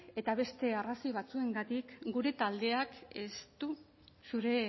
eta beste arrazoi batzuengatik gure taldeak ez du zure